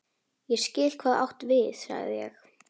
Ég skil, hvað þú átt við sagði ég.